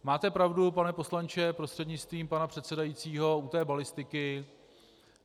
Máte pravdu, pane poslanče prostřednictvím pana předsedajícího, u té balistiky.